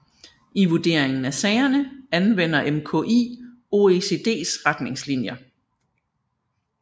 I vurderingen af sagerne anvender MKI OECDs retningslinjer